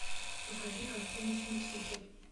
покажи картину смеситель